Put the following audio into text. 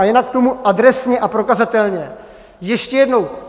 A jinak k tomu "adresně a prokazatelně", ještě jednou.